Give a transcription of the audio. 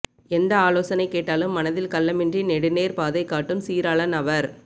எந்த ஆலோசனை கேட்டாலும் மனதில் கள்ளமின்றி நெடுநேர் பாதை காட்டும் சீராளன் அவர்